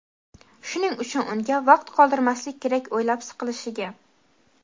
Shuning uchun unga vaqt qoldirmaslik kerak o‘ylab siqilishiga.